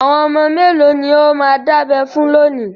Àwọn ọmọ mélòó ni ó máa dábẹ fún lónìí?